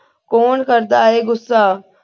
ਕੌਣ ਕਰਦਾ ਹੈ ਗੁੱਸਾ।